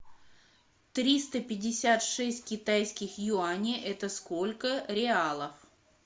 триста пятьдесят шесть китайских юаней это сколько реалов